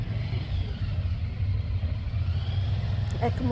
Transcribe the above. Como é que os seus pais se conheceram?